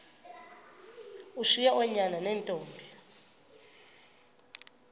ushiye oonyana neentombi